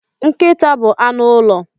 Nkịta bụ anụ ụlọ.